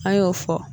An y'o fɔ